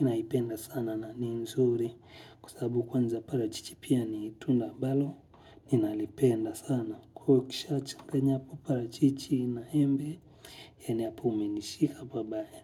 ninaipenda sana na ni nzuri kwa sababu kwanza parachichi pia ni tunda ambalo ninalipenda sana kwa hiyo ukishachanganya hapo parachichi na embe yaani hapo umenishika pabaya.